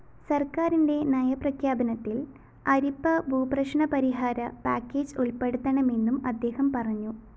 സര്‍ക്കാരിന്റെ നയപ്രഖ്യാപനത്തില്‍ അരിപ്പഭൂപ്രശ്‌നപരിഹാര പാക്കേജ്‌ ഉള്‍പ്പെടുത്തണമെന്നും അദ്ദേഹം പറഞ്ഞു